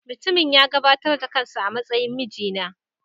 Mutumin ya gabatar da kansa a matsayin mijina.